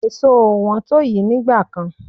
Èso ò wọ́n to yi nígbà kan.